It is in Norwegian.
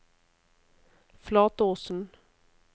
Flatåsen